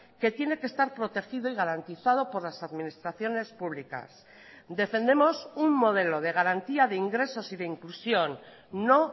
que tiene que estar protegido y garantizado por las administraciones públicas defendemos un modelo de garantía de ingresos y de inclusión no